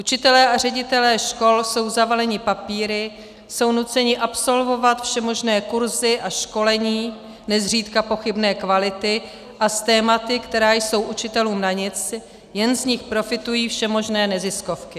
Učitelé a ředitelé škol jsou zavaleni papíry, jsou nuceni absolvovat všemožné kurzy a školení, nezřídka pochybné kvality, a s tématy, která jsou učitelům na nic, jen z nich profitují všemožné neziskovky.